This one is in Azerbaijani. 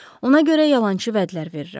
Ona görə yalançı vədlər verirəm.